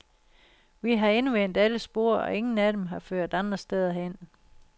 Vi har endevendt alle spor, og ingen af dem har ført andre steder hen.